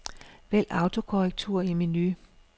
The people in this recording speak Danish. Vælg autokorrektur i menu.